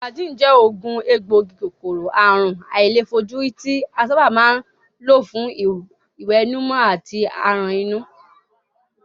Flagyl je ogun egboogi-Kòkòrò àrùn àìlèfojúrí ti a saba ma n lo fun iwenumo ati aran inu.